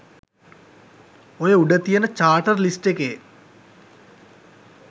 ඔය උඩ තියෙන චාටර් ලිස්ට් එකේ